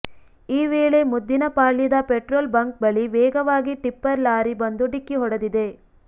ಈ ವೇಳೆ ಮುದ್ದಿನಪಾಳ್ಯದ ಪೆಟ್ರೋಲ್ ಬಂಕ್ ಬಳಿ ವೇಗವಾಗಿ ಟಿಪ್ಪರ್ ಲಾರಿ ಬಂದು ಡಿಕ್ಕಿ ಹೊಡೆದಿದೆ